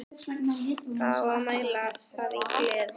Það á að mæla það í gleði.